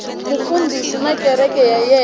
mufundhisi na kereke ya yena